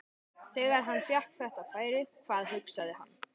Þegar hann fékk þetta færi, hvað hugsaði hann?